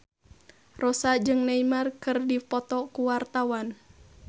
Rossa jeung Neymar keur dipoto ku wartawan